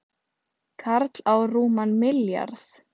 Karl á rúman milljarð